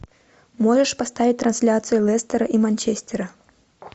можешь поставить трансляцию лестера и манчестера